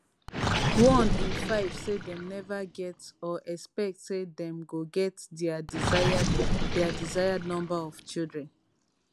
one in five say dem never get or expect say dem go get dia desired dia desired number of children